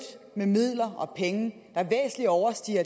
med midler og penge der væsentligt overstiger